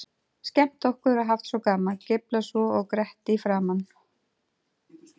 Skemmt okkur og haft svo gaman, geiflað svo og grett í framan.